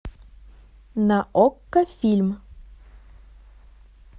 на окко фильм